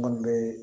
Minnu bɛ